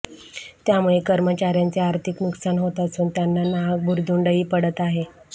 त्यामुळे कर्मचार्यांचे आर्थिक नुकसान होत असून त्यांना नाहक भुर्दंडही पडत आहे